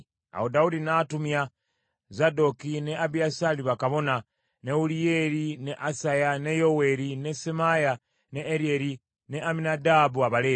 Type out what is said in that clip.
Awo Dawudi n’atumya Zadooki ne Abiyasaali bakabona, ne Uliyeri, ne Asaya, ne Yoweeri, ne Semaaya, ne Eryeri ne Amminadaabu Abaleevi,